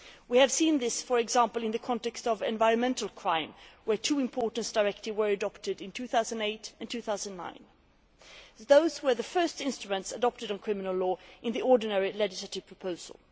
We have seen this for example in the context of environmental crime, where two important directives were adopted in 2008 and 2009. These were the first instruments adopted on criminal law in the ordinary legislative proposal.